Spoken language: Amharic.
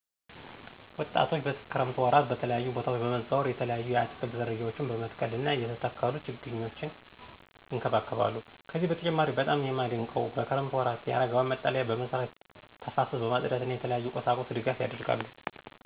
ወጣቶች በክረምት ወራት በተለያዩ በታወች በመዘዋወር የተለያዩ የአትክልት ዝርያዎች በመትከል እና የተተከሉት ችግኞች ይንከባከባሉ። ከዚህ በተጨማሪም በጣም የማደንቀው በክረምት ወራት የአረጋውያን መጠለያ በመስራት ተፋሰስ በማፅዳት እና የተለያዩ ቁሳቁስ ድጋፍ ያደርጋሉ።